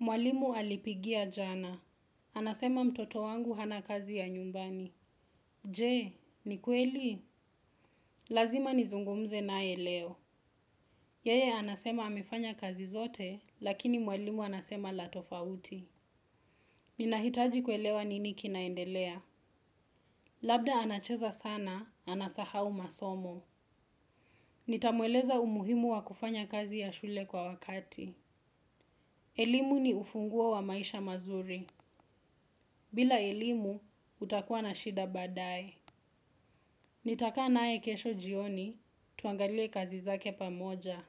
Mwalimu alipigia jana. Anasema mtoto wangu hana kazi ya nyumbani. Je, ni kweli? Lazima nizungumze naye leo. Yeye anasema amefanya kazi zote, lakini mwalimu anasema la tofauti. Ninahitaji kuelewa nini kinaendelea. Labda anacheza sana, anasahau masomo. Nitamweleza umuhimu wa kufanya kazi ya shule kwa wakati. Elimu ni ufunguo wa maisha mazuri. Bila elimu, utakuwa na shida baadaye. Nitakaa naye kesho jioni, tuangalie kazi zake pamoja.